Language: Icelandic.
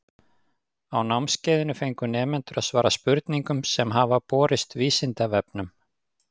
Á námskeiðinu fengu nemendur að svara spurningum sem hafa borist Vísindavefnum.